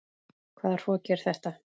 Hvaða hroki er þetta?